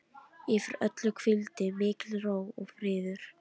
Yfir öllu hvíldi mikil ró og friður.